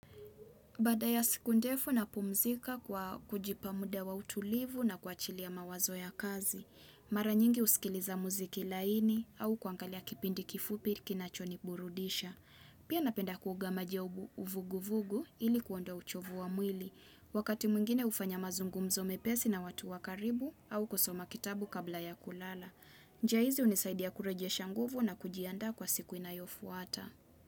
Baada ya siku ndefu napumzika kwa kujipa muda wa utulivu na kuachilia mawazo ya kazi. Mara nyingi husikiliza muziki laini au kuangalia kipindi kifupi kinachoniburudisha. Pia napenda kuoga maji ya uvugu vugu ili kuondoa uchovu wa mwili. Wakati mwingine hufanya mazungumzo mepesi na watu wa karibu au kusoma kitabu kabla ya kulala. Njia hizi hunisaidia kurejesha nguvu na kujiandaa kwa siku inayofuata.